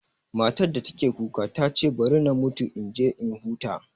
Matar da take kuka ta ce bari na mutu in je in huta